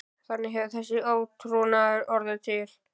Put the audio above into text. Þannig hefur þessi átrúnaður orðið til.